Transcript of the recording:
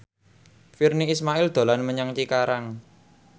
Virnie Ismail dolan menyang Cikarang